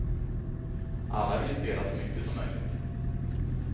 Alla vill ju spela så mycket som möjligt.